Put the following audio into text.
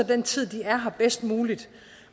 den tid de er her bedst muligt